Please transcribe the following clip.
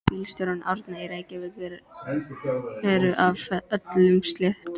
Bílstjórar Árna í Reykjavík eru af öllum stéttum.